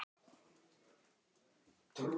Áttu, er þá viðbúið að niðurstaðan verði sýkna?